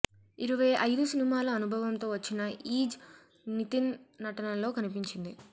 ఇరవై అయిదు సినిమాల అనుభవంతో వచ్చిన ఈజ్ నితిన్ నటనలో కనిపించింది